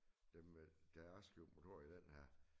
Dem med deres motorer i den her